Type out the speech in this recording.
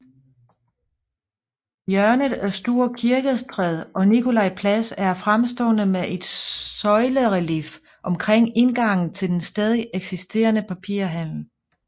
Hjørnet af Store Kirkestræde og Nikolaj Plads er fremstående med et søjlerelief omkring indgangen til den stadig eksisterende papirhandel